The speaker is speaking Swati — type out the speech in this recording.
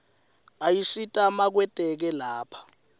ayasita makwetekwe lapha